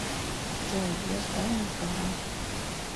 джой я сдал на права